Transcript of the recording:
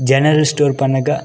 General store Pannaga.